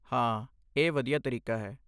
ਹਾਂ, ਇਹ ਵਧੀਆ ਤਰੀਕਾ ਹੈ।